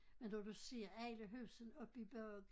Men når du ser alle husene oppe i bakken